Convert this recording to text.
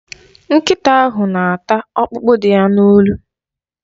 Nkịta ahụ na-ata ọkpụkpụ dị ya n'olu.